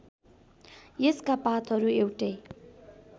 यसका पातहरू एउटै